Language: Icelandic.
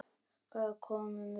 Hvaðan komum við?